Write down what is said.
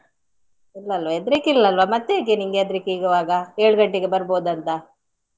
ಇಲ್ವಲ್ಲಾ ಹೆದ್ರಿಕೆ ಇಲ್ವಲ್ಲಾ ಮತ್ತೇಗೆ ನಿನಗೆ ಹೆದ್ರಿಕೆ ಇರುವಾಗ ಏಳ್ ಗಂಟೆಗೆ ಬರ್ಬೋದಂತಾ?